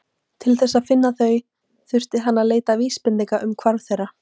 Til þess að finna þau þurfti hann að leita vísbendinga um hvarf þeirra.